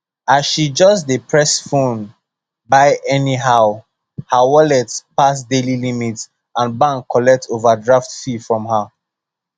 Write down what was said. as she just dey press phone buy anyhow her wallet pass daily limit and bank collect overdraft fee from her